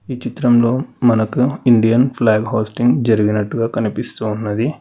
ఈ చిత్రంలో మనకు ఇండియన్ ఫ్లాగ్ హోస్టింగ్ జరిగినట్టుగా కనిపిస్తూ ఉన్నది.